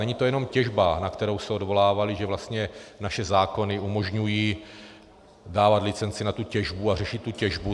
Není to jenom těžba, na kterou se odvolávali, že vlastně naše zákony umožňují dávat licenci na tu těžbu a řešit tu těžbu.